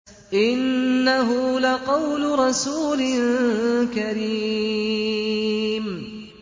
إِنَّهُ لَقَوْلُ رَسُولٍ كَرِيمٍ